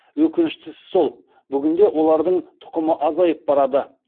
өкініштісі сол бүгінде олардың тұқымы азайып барады